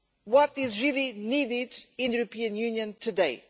What is really needed in the European Union today?